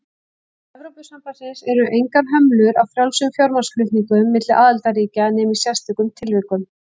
Innan Evrópusambandsins eru engar hömlur á frjálsum fjármagnsflutningum milli aðildarríkja nema í sérstökum tilvikum.